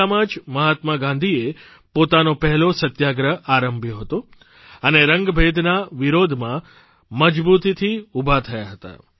દક્ષિણ આફ્રિકામાં જ મહાત્મા ગાંધીએ પોતાનો પહેલો સત્યાગ્રહ આરંભ્યો હતો અને રંગભેદના વિરોધમાં મજબૂતીથી ઊભા થયા હતા